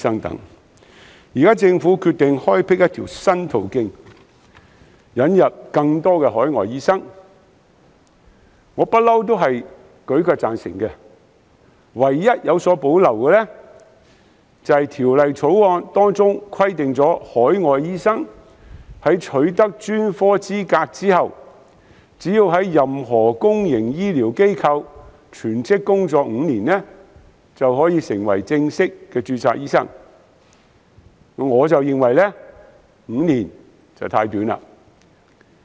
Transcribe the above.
現時，政府決定開闢一條新途徑，引入更多海外醫生，我舉腳贊成，唯一有所保留的是，《條例草案》規定海外醫生在取得專科資格後，只須在任何公營醫療機構全職工作5年，便可成為正式註冊醫生，我認為5年太短。